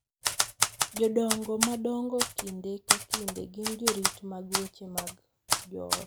Jodongo madongo kinde ka kinde gin jorit mag weche mag joot,